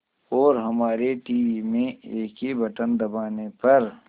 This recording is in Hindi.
और हमारे टीवी में एक ही बटन दबाने पर